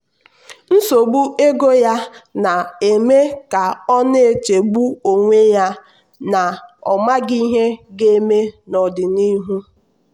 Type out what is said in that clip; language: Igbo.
nsogbu ego ya na-eme ka ọ na-echegbu onwe ya na ọ maghị ihe ga-eme n’ọdịnihu.